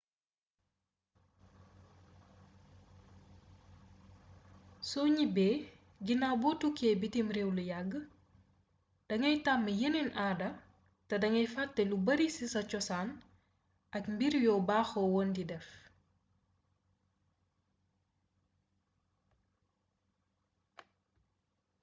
soo ñibbee ginaaw boo tukkee bitiw réew lu yàgg dangay tàmm yeneen aada te dangay fàtte lu bari ci sa cosaan ak mbir yoo baaxoo woon di def